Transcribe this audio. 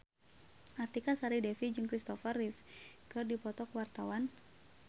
Artika Sari Devi jeung Kristopher Reeve keur dipoto ku wartawan